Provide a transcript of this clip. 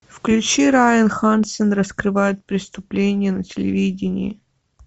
включи райан хансен раскрывает преступления на телевидении